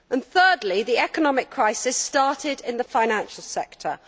Thirdly, the economic crisis started in the financial sector.